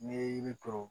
N'i ye yiri turu